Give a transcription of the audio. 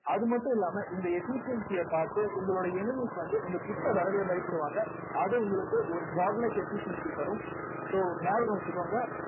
அது மட்டும் இல்லாம இந்த efficiency ய பார்த்து உங்களுடைய enemies வந்து உங்க கிட்ட வரவே பயப்படுவாங்க அது உங்களுக்கு ஒரு god like efficiency தரும் so ஞாபகம் வச்சுக்கோங்க